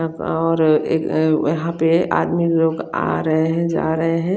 एक आरहा है एक आह पे आदमी लोग आ रहा है जा रहा है।